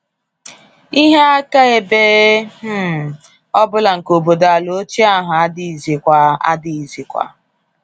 Ihe akaebe um ọ bụla nke obodo-ala ochie ahụ adịghịzikwa. adịghịzikwa.